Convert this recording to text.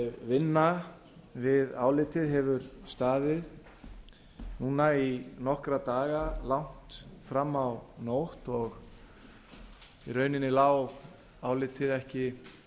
vinna við álitið hefur staðið núna í nokkra daga lagt fram á nótt og í rauninni lá álitið ekki